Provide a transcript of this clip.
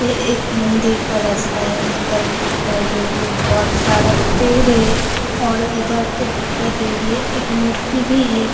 ये एक मंदिर का रास्ता है जिधर कुछ बहुत सारा पेड़ है और इधर भी दिखाई दे रही है। एक मूर्ति भी है।